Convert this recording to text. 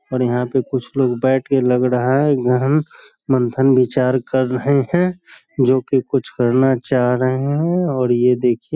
और यहाँ पे कुछ लोग बैठ के लग रहा है । गहन मंथन विचार कर रहे हैं । जो कि कुछ करना चाह रहे हैं और ये देखिए --